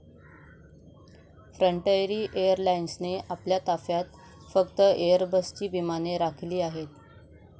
Frontier एअरलाइन्सने आपल्या ताफ्यात फक्त एयरबसची विमाने राखिली आहेत.